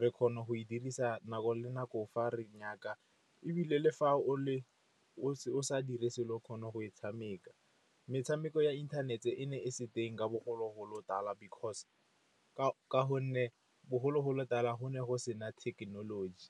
re kgona go e dirisa nako le nako fa re nyaka. E bile le fa o sa dirise, o kgona go e tshameka. Metshameko ya inthanete e ne e se teng ka bogologolo tala ka gonne bogologolo tala go ne go se na thekenoloji.